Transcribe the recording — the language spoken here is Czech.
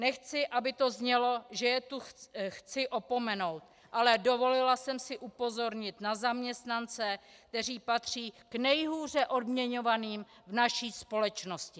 Nechci, aby to znělo, že je tu chci opomenout, ale dovolila jsem si upozornit na zaměstnance, kteří patří k nejhůře odměňovaným v naší společnosti.